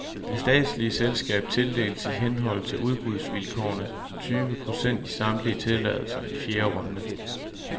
Det statslige selskab tildeles i henhold til udbudsvilkårene tyve procent i samtlige tilladelser i fjerde runde.